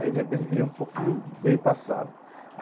Aí, de repente, vinha um pouquinho bem passado.